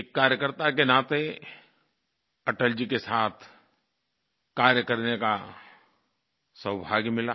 एक कार्यकर्ता के नाते अटल जी के साथ कार्य करने का सौभाग्य मिला